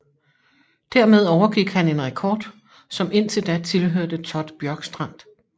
Dermed overgik han en rekord som indtil da tilhørte Todd Bjorkstrand